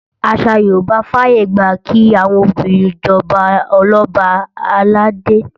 Àṣà Yorùbá fàyègbà kí àwọn obìnrin jọba Ọlọ́ba àlàdé